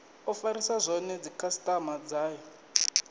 o farisa zwone dzikhasitama dzayo